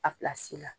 A la